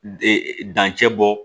Ee dancɛ bɔ